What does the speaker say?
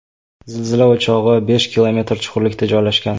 Zilzila o‘chog‘i besh kilometr chuqurlikda joylashgan.